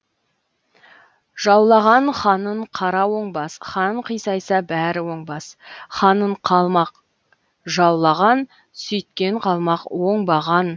жаулаған ханын қара оңбас хан қисайса бәрі оңбас ханын қалмақ жаулаған сүйткен қалмақ оңбаған